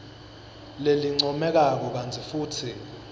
lelincomekako kantsi futsi